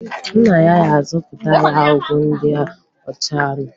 Nna ya ga-azụtara ya ọgwụ ndị ọ ga-anụ.